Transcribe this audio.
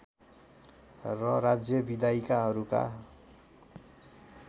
र राज्य विधायिकाहरूका